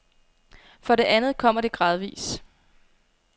For det andet kommer det gradvis.